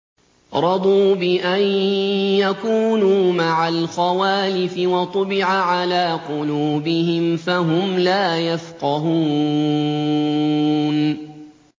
رَضُوا بِأَن يَكُونُوا مَعَ الْخَوَالِفِ وَطُبِعَ عَلَىٰ قُلُوبِهِمْ فَهُمْ لَا يَفْقَهُونَ